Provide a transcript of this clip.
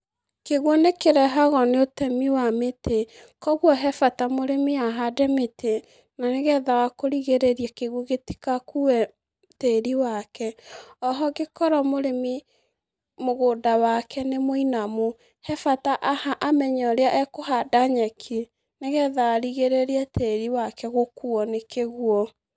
Kĩguũ nĩ kĩrehagwo nĩ ũtemi wa mĩtĩ. Kogwo he bata mũrĩmi ahande mĩtĩ na nĩ getha wa kũrigĩrĩria kĩguũ gĩtigakue tĩri wake. Oho angĩkorwo mũrĩmi mũgũnda wake nĩ mũinamu, he bata amenye ũrĩa ekũhanda nyeki ni getha arigĩrĩrie tĩri wake gũkuo nĩ kĩguũ.